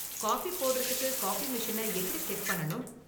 Coffee போடுறதுக்கு coffee மெஷினை எப்படி செட் பண்ணணும்?